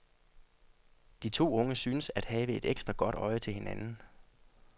De to unge synes at have et ekstra godt øje til hinanden.